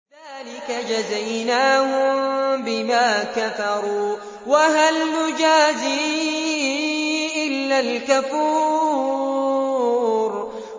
ذَٰلِكَ جَزَيْنَاهُم بِمَا كَفَرُوا ۖ وَهَلْ نُجَازِي إِلَّا الْكَفُورَ